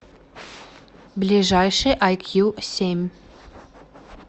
ближайший айкью семь